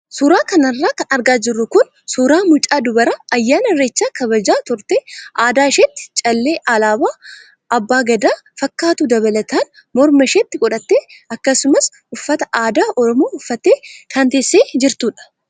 Suuraa kanarra kan argaa jirru kun suuraa mucaa dubaraa ayyaana irreechaa kabajaa turtee adda isheetti callee alaabaa abbaa gadaa fakkaatu dabalataan morma isheetti godhattee akkasumas uffata aadaa oromoo uffattee kan teessee jirtudha.